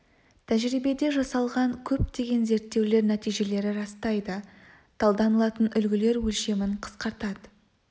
тәжірибеде жасалған көптеген зерттеулер нәтижелері растайды таңдалатын үлгілер өлшемін қысқартады